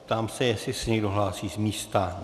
Ptám se, jestli se někdo hlásí z místa.